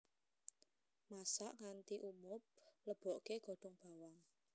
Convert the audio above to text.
Masak nganti umub leboke godhong bawang